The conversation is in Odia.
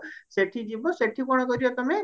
ସେଠି ଯିବ ସେଠି କଣ କରିବ ତମେ